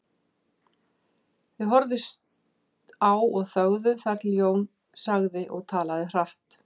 Þau horfðust á og þögðu þar til Jón sagði og talaði hratt